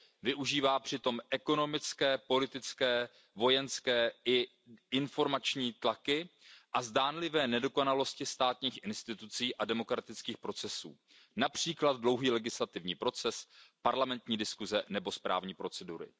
Využívá přitom ekonomické, politické, vojenské i informační tlaky a zdánlivé nedokonalosti státních institucí a demokratických procesů, například dlouhý legislativní proces, parlamentní diskuse nebo správní procedury.